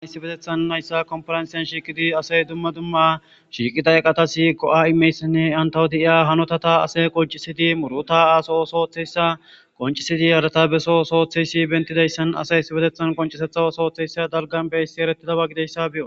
ayissi betethan nayssa komfaransyan shiiqidi asay dumma dumma shiiqida eqatasi go7a imeyssinne antawo de7iya hanotata ase qoncisidi muruta aaso sooththeyssa qoncisidi harata beso sooththeysi bentidayssan asay sibetethan qoncisetha sooththeyssa dalgan beyssi erettida ba gideyssa beo